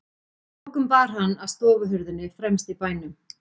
Að lokum bar hann að stofuhurðinni fremst í bænum.